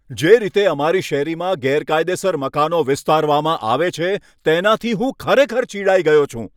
જે રીતે અમારી શેરીમાં ગેરકાયદેસર રીતે મકાનો વિસ્તારવામાં આવે છે, તેનાથી હું ખરેખર ચિડાઈ ગયો છું.